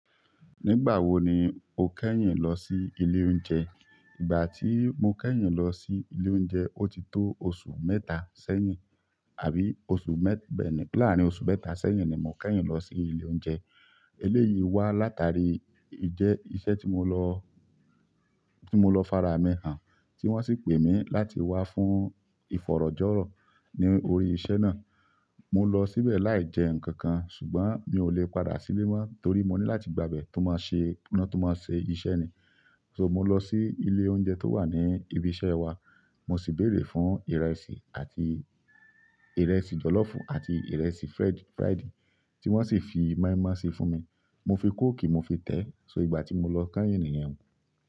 Nígbà wo ni o kẹ́yìn lọ sí ilé oúnjẹ? Ìgbà tí mo kẹ́yìn lọ sí ilé oúnjẹ, ó ti tó oṣù mẹ́ta sẹ́yìn, àbí oṣù mẹ́-- bẹ́ẹ̀ ni, larin oṣù mẹ́ta sẹ́yìn ni mo kẹ́yìn lọ sí ilé oúnjẹ. Eléyìí wá látàrí ìjẹ́-- iṣẹ́ tí mo lọ, tí mo lọ faramihàn, tí wọ́n sì pè mí láti wá fún ìfọ̀rọ̀jọ̀rọ̀ ní orí iṣẹ́ náà. Mo lọ síbẹ̀ láì jẹ nǹkan kan, ṣùgbọ́n mi ò lè padà sílé mọ́ torí mo ní láti gba abẹ tó máa ṣe iná tó máa ṣe iṣẹ́ ni. So mo lọ sí ilé oúnjẹ tó wà ní ibi iṣẹ́ wa, mo sì béèrè fún ìrẹsì àti ìrẹsì jọ̀lọ́fù àti ìrẹsì fried, fried tí wọ́n sì fi moi-moi sí fún mi. Mo fi kóòkì mo fi tẹ̀. So ìgbà tí mo lọ kẹ́yìn nìyẹn.